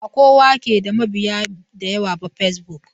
Bakowa ke da mabiya da yawa ba fesbok.